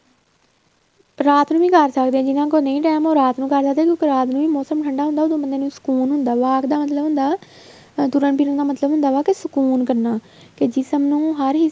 ਰਾਤ ਨੂੰ ਵੀ ਕਰ ਸਕਦੇ ਹਾਂ ਜਿਹਨਾ ਕੋਲ ਨਹੀਂ time ਉਹ ਰਾਤ ਨੂੰ ਕਰ ਸਕਦੇ ਏ ਕਿਉਂਕਿ ਰਾਤ ਨੂੰ ਵੀ ਮੋਸਮ ਠੰਡਾ ਹੁੰਦਾ ਉਹਦੋ ਬੰਦੇ ਨੂੰ ਸੁਕੂਨ ਹੁੰਦਾ walk ਦਾ ਮਤਲਬ ਹੁੰਦਾ ਤੁਰਨ ਫਿਰਣ ਦਾ ਮਤਲਬ ਹੁੰਦਾ ਵਾ ਸੁਕੂਨ ਕਰਨਾ ਕੇ ਜਿਸਮ ਨੂੰ ਹਰ ਹਿੱਸੇ